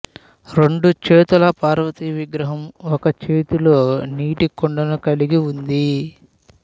రెండు చేతుల పార్వతి విగ్రహం ఒక చేతిలో నీటి కుండను కలిగి ఉంది